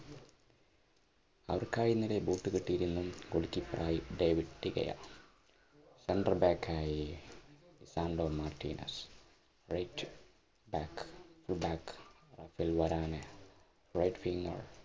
അവർക്കായി ഇന്നലെ centeral back ആയി